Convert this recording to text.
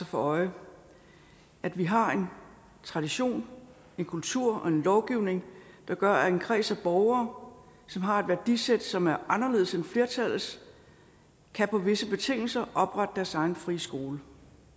for øje at vi har en tradition en kultur og en lovgivning der gør at en kreds af borgere som har et værdisæt som er anderledes end flertallets på visse betingelser kan oprette deres egen frie skole